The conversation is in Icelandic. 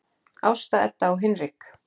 Ásta Edda og Hinrik.